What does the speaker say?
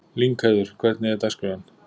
Lyngheiður, hvernig er dagskráin?